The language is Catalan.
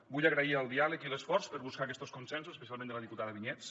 vull agrair el diàleg i l’esforç per buscar aquestos consensos especialment de la diputada vinyets